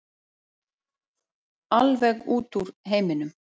Alveg út úr heiminum.